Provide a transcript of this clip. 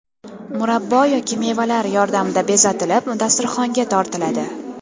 Murabbo yoki mevalar yordamida bezatilib, dasturxonga tortiladi.